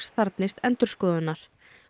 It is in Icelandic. þarfnist endurskoðunar